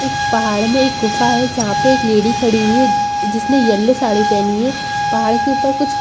एक पहाड़ में एक गुफ़ा है जहाँ पे एक लेडी खड़ी हुई है जिसने येलो साड़ी पहनी है पहाड़ के ऊपर कुछ--